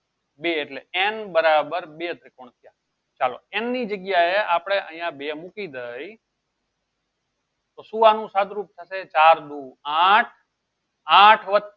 બે એટલે n બરાબર બે ત્રિકોણ થયા ચાલો n ની જગ્યાએ આપળે અયીયા બે મૂકી દેયીયે તો શું આનું સાદ રૂપ થાય ચાર દો આઠ આઠ વત્તા